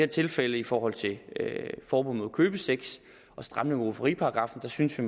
tilfælde i forhold til forbud mod købesex og stramning af rufferiparagraffen synes vi